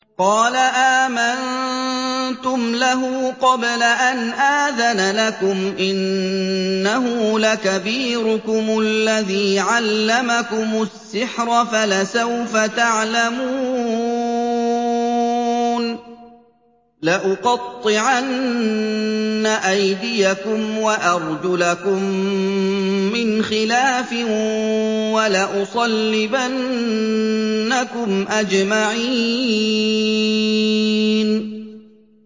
قَالَ آمَنتُمْ لَهُ قَبْلَ أَنْ آذَنَ لَكُمْ ۖ إِنَّهُ لَكَبِيرُكُمُ الَّذِي عَلَّمَكُمُ السِّحْرَ فَلَسَوْفَ تَعْلَمُونَ ۚ لَأُقَطِّعَنَّ أَيْدِيَكُمْ وَأَرْجُلَكُم مِّنْ خِلَافٍ وَلَأُصَلِّبَنَّكُمْ أَجْمَعِينَ